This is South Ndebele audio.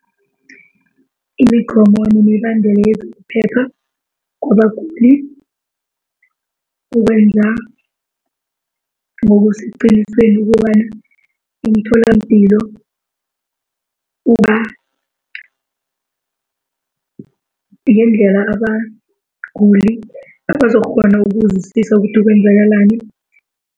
Imigomo nemibandela yezokuphepha ukwenza ngokusiqiniseko ukobana imitholampilo uba ngendlela abaguli bazokukghona ukuzwisisa ukuthi kwenzakalani.